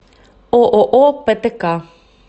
ооо птк